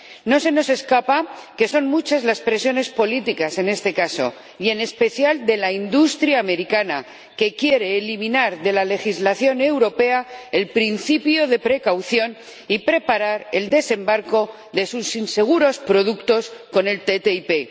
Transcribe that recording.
No se nos escapa que son muchas las presiones políticas en este caso y, en especial, de la industria americana, que quiere eliminar de la legislación europea el principio de precaución y preparar el desembarco de sus inseguros productos con el TTIP.